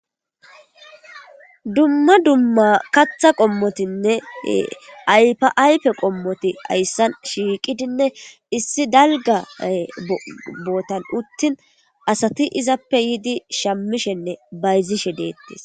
dumma dumma katha qommotinne aypaaype qommoti ayssan shiiqidinne issi dalga bootan uttin asati izappe yiidi shammishenne bayzishe deettis